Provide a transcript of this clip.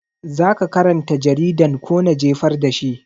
Zaka karanta jaridan ko na jefar da shi?